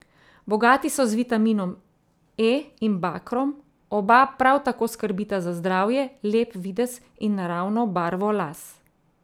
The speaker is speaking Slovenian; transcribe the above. Bogati so z vitaminom E in bakrom, oba prav tako skrbita za zdravje, lep videz in naravno barvo las.